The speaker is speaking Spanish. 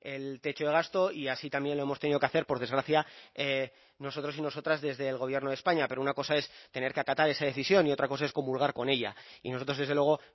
el techo de gasto y así también lo hemos tenido que hacer por desgracia nosotros y nosotras desde el gobierno de españa pero una cosa es tener que acatar esa decisión y otra cosa es comulgar con ella y nosotros desde luego